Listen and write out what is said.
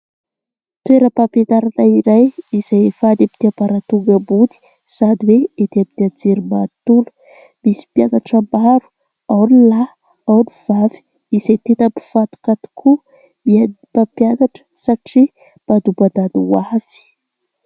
Toeram-pampianarana iray izay hefa eny ambaratonga ambony sady hoe ety ampitiajery manontolo, misy mpianatra maro ao ny lahy ao ny vavy izay tenam-pifantoka tokoa ny mpampianatra satria mpadombandany ho avy